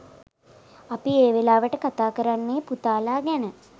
අපි ඒ වෙලාවට කතා කරන්නේ පුතාලා ගැන.